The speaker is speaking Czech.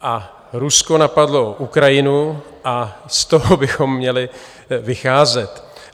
A Rusko napadlo Ukrajinu a z toho bychom měli vycházet.